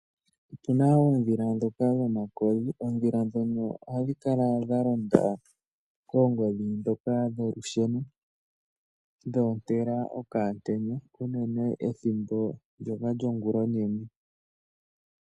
Otuna oodhila dhoka dhomakodhi, oodhila dhono ohadhi kala dha londa koongodhi dhoka dholusheno. Dho ontela okaantenya uunene ethimbo ndyoka lyongulonene.